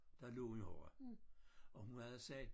Der lå en horra og hun havde sagt